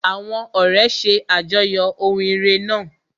Àwọn ọ̀rẹ́ ṣe àjọyọ̀ ohun ire náà.